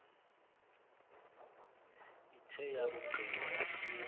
ithe yakugqiba yaphuma